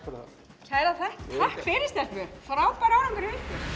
kærar þakkir takk fyrir stelpur frábær árangur hjá ykkur